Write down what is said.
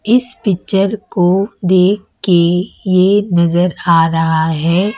इस पिक्चर को देख के ये नजर आ रहा है।